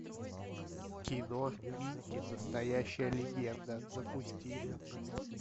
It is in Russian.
кино микки настоящая легенда запусти